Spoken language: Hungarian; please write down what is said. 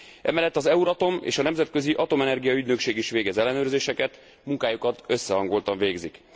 Emellett az Euratom és a Nemzetközi Atomenergia Ügynökség is végez ellenőrzéseket, munkájukat összehangoltan végzik.